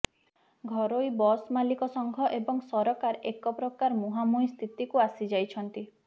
ଘରୋଇ ବସ୍ ମାଲିକ ସଂଘ ଏବଂ ସରକାର ଏକ ପ୍ରକାର ମୁହାଁମୁହିଁ ସ୍ଥିତିକୁ ଆସି ଯାଇଛନ୍ତି